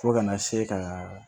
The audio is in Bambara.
Fo kana se ka